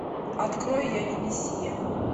открой я не миссия